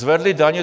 Zvedli daně.